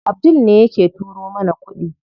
Abdul ne yake turo mana kuɗi.